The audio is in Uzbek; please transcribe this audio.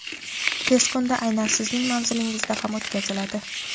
tez kunda aynan sizning manzilingizda ham o‘tkaziladi.